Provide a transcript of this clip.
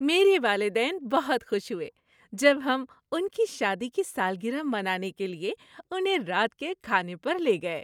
میرے والدین بہت خوش ہوئے جب ہم ان کی شادی کی سالگرہ منانے کے لیے انہیں رات کے کھانے پر لے گئے۔